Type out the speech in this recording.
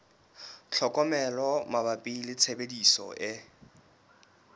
tlhokomelo mabapi le tshebediso e